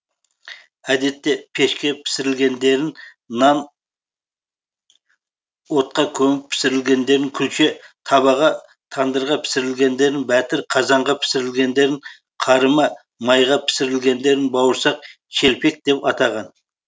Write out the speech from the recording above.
әдетте пешке пісірілгендерін нан отқа көміп пісірілгендерін күлше табаға тандырға пісірілгендерін бәтір қазанға пісірілгендерін қарыма майға пісірілгендерін бауырсақ шелпек деп атаған